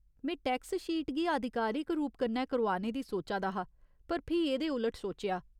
में tax sheet गी आधिकारिक रूप कन्नै करोआने दी सोचा दा हा पर फ्ही एह्दे उल्ट सोचेआ।